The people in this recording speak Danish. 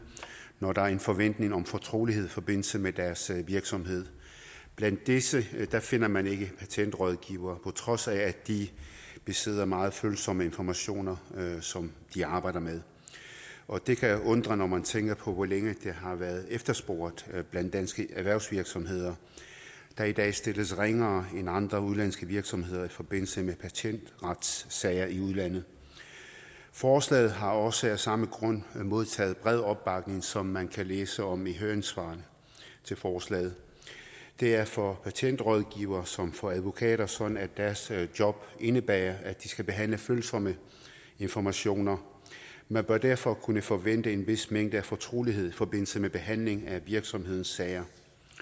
når der er en forventning om fortrolighed i forbindelse med deres virksomhed blandt disse finder man ikke patentrådgivere på trods af at de besidder meget følsomme informationer som de arbejder med og det kan undre når man tænker på hvor længe det har været efterspurgt blandt danske erhvervsvirksomheder der i dag stilles ringere end andre udenlandske virksomheder i forbindelse med patentretssager i udlandet forslaget har også af samme grund modtaget bred opbakning som man kan læse om i høringssvarene til forslaget det er for patentrådgivere som for advokater sådan at deres job indebærer at de skal behandle følsomme informationer man bør derfor kunne forvente en vis mængde af fortrolighed i forbindelse med behandling af virksomhedens sager